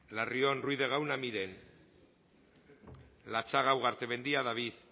larrion ruiz de gauna miren latxaga ugartemendia david